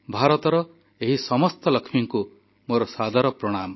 ଭାରତର ଏହି ସମସ୍ତ ଲକ୍ଷ୍ମୀଙ୍କୁ ମୋର ସାଦର ପ୍ରଣାମ